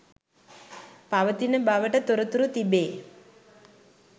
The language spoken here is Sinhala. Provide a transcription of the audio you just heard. පවතින බවට තොරතුරු තිබේ